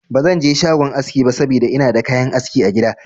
Ba zan je shagon aski ba saboda ina da kayan aski a gida.